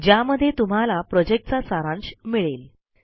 ज्यामध्ये तुम्हाला प्रॉजेक्टचा सारांश मिळेल